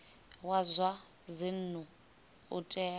wa zwa dzinnu u tea